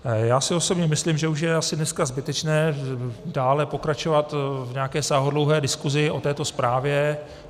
Já si osobně myslím, že už je asi dneska zbytečné dále pokračovat v nějaké sáhodlouhé diskusi o této zprávě.